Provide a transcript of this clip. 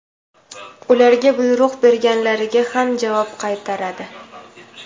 ularga buyruq berganlarga ham javob qaytaradi.